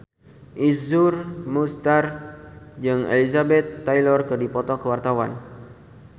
Iszur Muchtar jeung Elizabeth Taylor keur dipoto ku wartawan